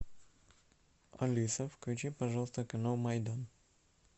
алиса включи пожалуйста канал майдан